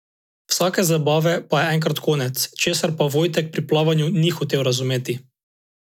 Vsake zabave pa je enkrat konec, česar pa Vojtek pri plavanju ni hotel razumeti.